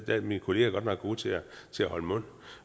er mine kollegaer godt nok gode til at holde mund